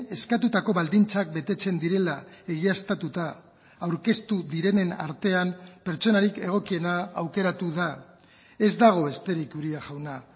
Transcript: eskatutako baldintzak betetzen direla egiaztatuta aurkeztu direnen artean pertsonarik egokiena aukeratu da ez dago besterik uria jauna